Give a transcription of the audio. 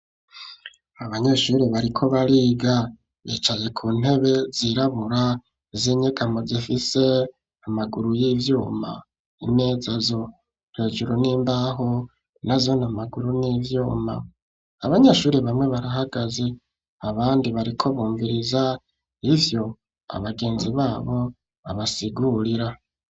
Abanyeshure, bariko bariga, bicaye ku ntebe zirabura, z'inyegamo; zifise amaguru y'ivyuma; imeza zo, hejuru ni imbaho, nazone amaguru, ni ivyuma; abanyeshuri bamwe, barahagaze, abandi bariko bumviriza, ivyo abagenzi babo babasigurira.